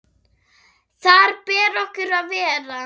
Þar ber okkur að vera!